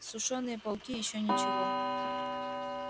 сушёные пауки ещё ничего